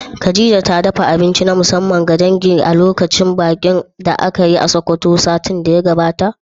Khadija ta dafa abinci na musamman ga dangi a lokacin bikin da aka yi a Sokoto satin da ya gabata?